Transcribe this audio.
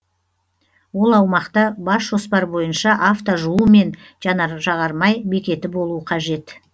ол аумақта бас жоспар бойынша авто жуу мен жанар жағармай бекеті болу қажет